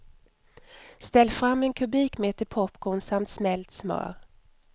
Ställ fram en kubikmeter popcorn samt smält smör.